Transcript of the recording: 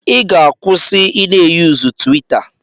Ị ga-akwụsị i na-eyuzu twitter.